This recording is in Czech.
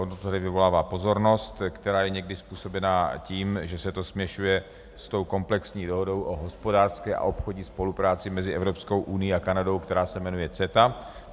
Ono to vyvolává pozornost, která je někdy způsobena tím, že se to směšuje s tou komplexní Dohodou o hospodářské a obchodní spolupráci mezi Evropskou unií a Kanadou, která se jmenuje CETA.